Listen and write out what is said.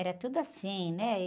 Era tudo assim, né? E...